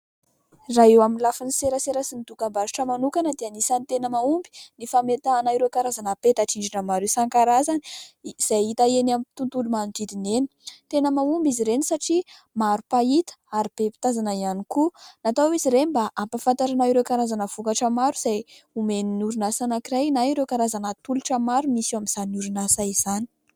Raha eo amin'ny lafin'ny serasera sy ny dokam-barotra manokana dia anisany tena mahomby ny fametahana ireo karazana peta-drindrina maro isankarazany izay hita eny amin'ny tontolo manodidina ; tena mahomby izy ireny satria maro mpahita ary be mpitazana ihany koa. Natao hoe izy ireny mba ampafantarana ireo karazana vokatra maro izay omen'ny orinasa anankiray na ireo karazana tolotra maro misy eo amin'izany orinasa izany.